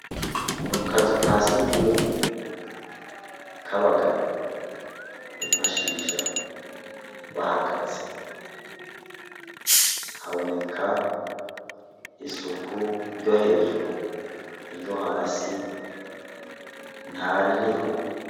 Mu kazu ka surwumwe k'abagabo bifashisha bahagaze haboneka isuku ryo hejuru, iryo hasi ntaririho.